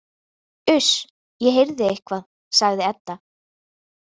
Uss, ég heyrði eitthvað, sagði Edda.